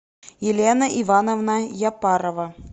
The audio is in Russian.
елена ивановна япарова